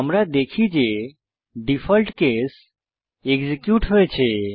আমরা দেখি যে ডিফল্ট কেস এক্সিকিউট হয়েছে